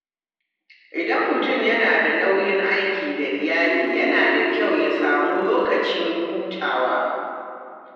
Idan mutum yana da nauyin aiki da iyali, yana da kyau ya samu lokacin hutawa.